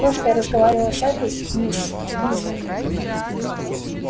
то что я разговаривала с этой мисс миссис